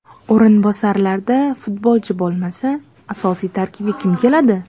O‘rinbosarlarda futbolchi bo‘lmasa, asosiy tarkibga kim keladi?